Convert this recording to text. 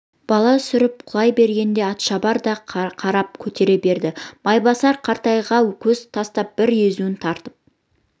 бала сүрініп құлай бергенде атшабар да қармап көтере берді майбасар қаратайға көз тастап бір езуін тартып